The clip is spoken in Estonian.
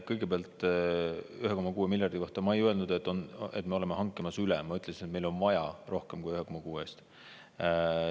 Kõigepealt 1,6 miljardi kohta: ma ei öelnud, et me oleme hankimas üle selle, ma ütlesin, et meil on vaja rohkem kui 1,6 miljardi eest.